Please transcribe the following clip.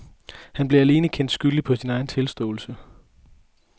Han blev alene kendt skyldig på sin egen tilståelse.